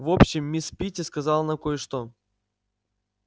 в общем мисс питти сказала нам кое-что